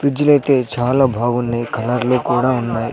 ఫ్రిజ్జులైతే చాలా బాగున్నాయి కలర్లు కూడా ఉన్నాయ్.